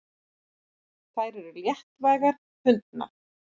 Þær eru léttvægar fundnar.